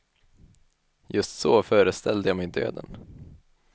Just så föreställde jag mig döden.